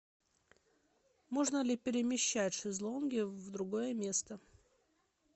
можно ли перемещать шезлонги в другое место